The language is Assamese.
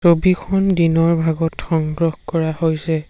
ছবিখন দিনৰ ভাগত সংগ্ৰহ কৰা হৈছে।